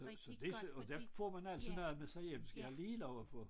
Så det og der får man altid noget med sig hjem skal jeg lige love for